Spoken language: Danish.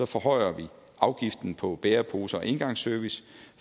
forhøjer vi afgiften på bæreposer og engangsservice